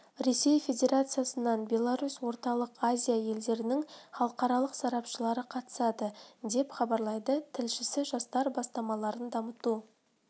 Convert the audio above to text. ресей федерациясынан беларусь орталық азия елдерінің халықаралық сарапшылары қатысады деп хабарлайды тілшісі жастар бастамаларын дамыту